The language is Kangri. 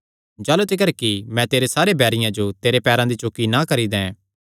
जाह़लू तिकर कि मैं तेरे बैरियां जो तेरे पैरां दी चौकी ना करी दैं